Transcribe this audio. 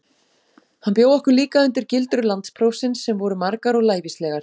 Hann bjó okkur líka undir gildrur landsprófsins, sem voru margar og lævíslegar.